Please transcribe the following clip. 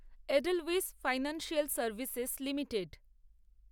Edelweiss financial services limited